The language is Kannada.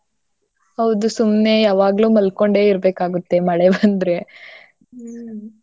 ಹೌದು ಸುಮ್ನೆ ಯಾವಾಗ್ಲೂ ಮಲ್ಕೊಂಡೆ ಇರ್ಬೇಕಾಗತ್ತೆ ಮಳೆ ಬಂದ್ರೆ. ಹ್ಮ್.